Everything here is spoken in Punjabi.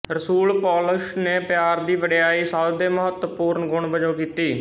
ਰਸੂਲ ਪੌਲੁਸ ਨੇ ਪਿਆਰ ਦੀ ਵਡਿਆਈ ਸਭ ਦੇ ਮਹੱਤਵਪੂਰਣ ਗੁਣ ਵਜੋਂ ਕੀਤੀ